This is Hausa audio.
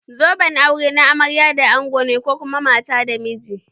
Zoben aure na amarya da ango ne ko kuma mata da miji.